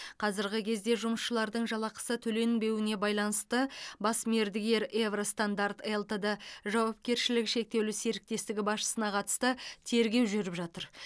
қазіргі кезде жұмысшылардың жалақысы төленбеуіне байланысты бас мердігер евро стандарт лтд жауапкершілігі шектеулі серіктестігі басшысына қатысты тергеу жүріп жатыр